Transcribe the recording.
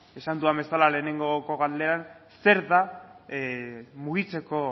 esan dudan bezala lehengoko galderan zer da mugitzeko